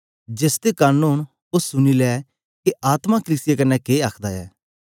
जेसदे कन ओंन ओ सुनी ले के आत्मा कलीसिया कन्ने के आखदा ऐ